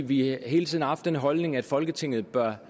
vi har hele tiden haft den holdning at folketinget bør